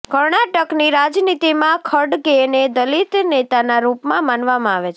કર્ણાટકની રાજનીતિમાં ખડગેને દલિત નેતાના રૂપમાં માનવામાં આવે છે